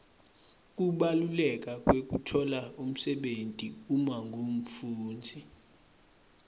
kubaluleka kwekutfola umsebenti uma ungumfundzi